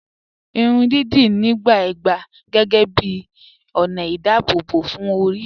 Ìrùn díídí níbà gbà géégé bí onà ìdábòbò fún orí.